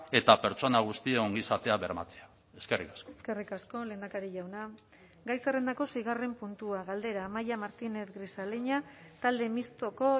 eta pertsona guztien ongizatea bermatzea eskerrik asko eskerrik asko lehendakari jauna gai zerrendako seigarren puntua galdera amaia martínez grisaleña talde mistoko